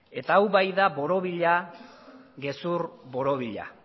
eta hau bai da gezur borobila